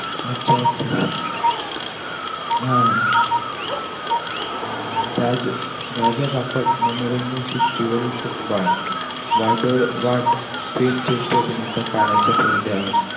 अच्छा अच्छा! हा अं राज राजा बापट मनोरंजन सृष्टीवरून शोककळा. वादळवाट fame श्रेष्ठ अभिनेता काळाच्या पडद्याआड.